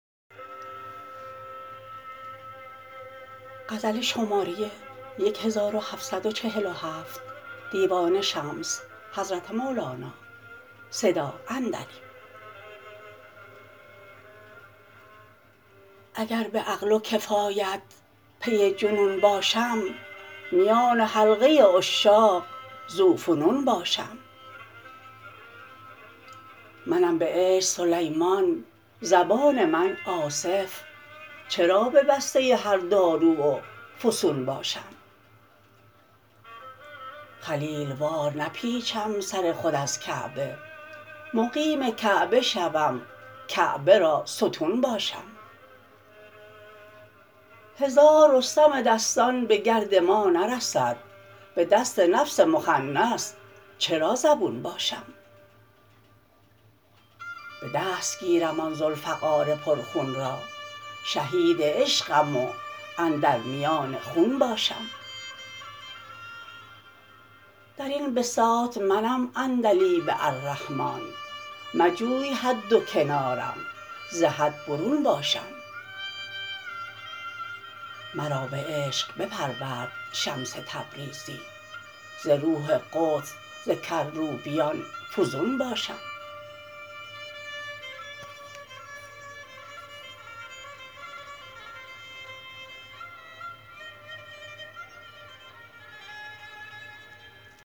اگر به عقل و کفایت پی جنون باشم میان حلقه عشاق ذوفنون باشم منم به عشق سلیمان زبان من آصف چرا ببسته هر داروی فسون باشم خلیل وار نپیچم سر خود از کعبه مقیم کعبه شوم کعبه را ستون باشم هزار رستم دستان به گرد ما نرسد به دست نفس مخنث چرا زبون باشم به دست گیرم آن ذوالفقار پرخون را شهید عشقم و اندر میان خون باشم در این بساط منم عندلیب الرحمان مجوی حد و کنارم ز حد برون باشم مرا به عشق بپرورد شمس تبریزی ز روح قدس ز کروبیان فزون باشم